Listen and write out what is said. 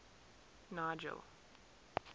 nigel